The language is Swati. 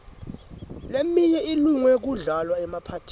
leminye ilunge kudlalwa emaphathini